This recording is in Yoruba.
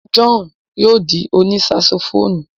John yóò di òní saxophonu